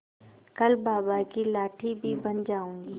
कल बाबा की लाठी भी बन जाऊंगी